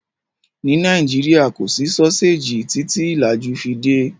Nílẹ̀ Nàìjíríà, kò sí sọ́séjì títí ìlàjú fi dé.